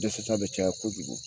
Dɛsɛ ta bɛ caya kojugu